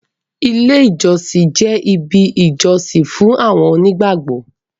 ilé ìjósìn jẹ ibì ìjósìn fún àwọn onígbàgbọ